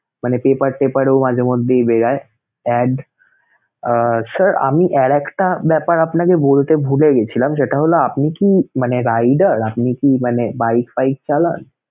মানে paper টেপার ও মাঝে মধ্যেই বের হয় add আহ sir আমি আর একটা ব্যাপার আপনাকে বলতে ভুলে গিয়েছিলাম, সেটা হলো আপনি কি মানে rider? আপনি কি মানে bike পাইক চালান?